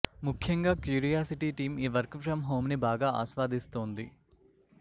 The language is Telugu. ముఖ్యంగా క్యూరియాసిటీ టీం ఈ వర్క్ ఫ్రమ్ హోమ్ని బాగా ఆస్వాదిస్తోంది